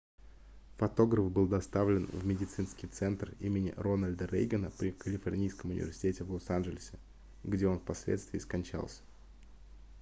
фотограф был доставлен в медицинский центр имени рональда рейгана при калифорнийском университете в лос-анджелесе где он впоследствии скончался